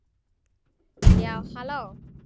Já, halló!